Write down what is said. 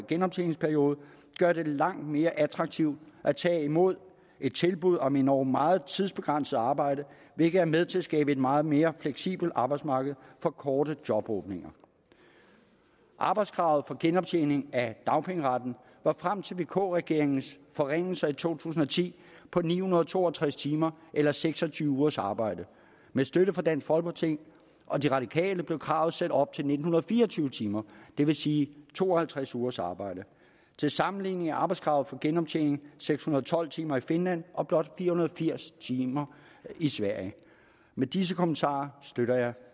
genoptjeningsperiode gør det langt mere attraktivt at tage imod et tilbud om endog meget tidsbegrænset arbejde hvilket er med til at skabe et meget mere fleksibelt arbejdsmarked for korte jobåbninger arbejdskravet for genoptjening af dagpengeretten var frem til vk regeringens forringelser i to tusind og ti på ni hundrede og to og tres timer eller seks og tyve ugers arbejde med støtte fra dansk folkeparti og de radikale blev kravet sat op til nitten fire og tyve timer det vil sige to og halvtreds ugers arbejde til sammenligning er arbejdskravet for genoptjening seks hundrede og tolv timer i finland og blot fire hundrede og firs timer i sverige med disse kommentarer støtter jeg